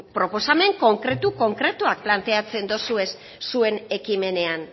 proposamen konkretu konkretuak planteatzen dozuez zuen ekimenean